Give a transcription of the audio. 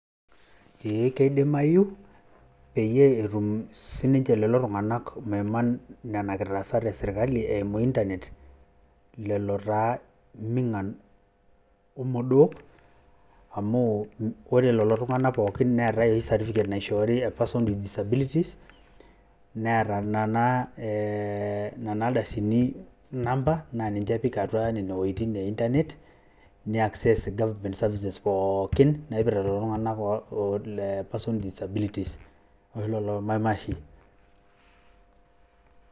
eeh keidimayu peyie etum sinche lelo tunganak maiman nena kitaasat esirkali eimu internet lelo mingan ,irmodoo amu ore lelo tunganak pookin neeta certificate naishori e persons with disabilities neeta naa nena ardasin inamba naa ninche epik atua nene wuejitin e internet ne access goverment services pookin naipirta lelo tunganak oo persons with disabilities ashu lelo maimashin.